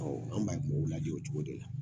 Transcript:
Ɔ an b'a o cogo de la